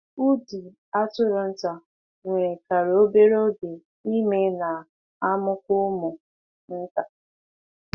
Ụdị atụrụ nta nwerekarị obere oge ime na-amụkwa ụmụ nta.